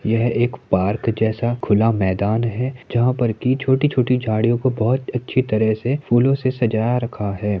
यह एक पार्क जैसा खुला मैदान है जहाँ पर की छोटी-छोटी झाड़ियों को बहुत अच्छी तरह से फूलो को सजा रखा है।